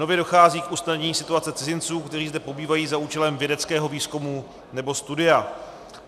Nově dochází k usnadnění situace cizinců, kteří zde pobývají za účelem vědeckého výzkumu nebo studia.